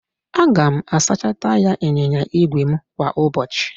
Aga m asacha taya ịnyịnya ígwè m kwa ụbọchị